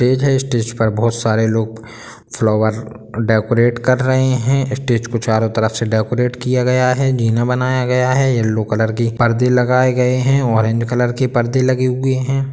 --तेज है स्टेज पर बहुत सारे लोग फ्लावर डेकोरेट कर रहे हैं स्टेज को चारों तरफ से डेकोरेट किया गया है जिन बनाया गया है येलो कलर की पर्दे लगाए गए हैं ऑरेंज कलर की पर्दे लगी हुई हैं।